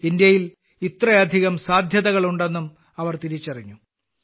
ഇന്ത്യയിൽ ഇത്രയധികം സാധ്യതകളുണ്ടെന്നും അവർ തിരിച്ചറിഞ്ഞു